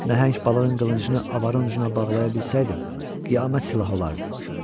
Nəhəng balığın qılıncını avarın ucuna bağlaya bilsəydim, qiyamət silahı olardı.